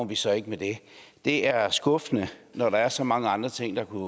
vi så ikke med det det er skuffende når der er så mange andre ting der kunne